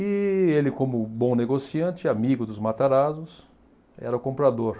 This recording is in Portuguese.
E ele, como bom negociante, amigo dos Matarazzos, era comprador.